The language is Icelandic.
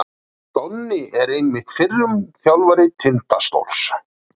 Donni er einmitt fyrrum þjálfari Tindastóls.